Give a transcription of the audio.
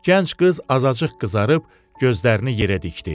Gənc qız azacıq qızarıb gözlərini yerə dikdi.